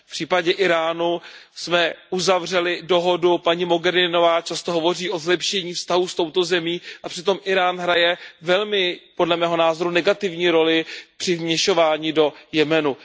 V případě Íránu jsme uzavřeli dohodu, paní Mogheriniová často hovoří o zlepšení vztahů s touto zemí a přitom Írán hraje, podle mého názoru, velmi negativní roli při vměšování do Jemenu.